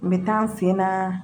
N bɛ taa n fɛ na